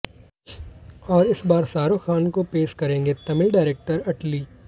और इस बार शाहरूख खान को पेश करेंगे तमिल डायरेक्टर अटली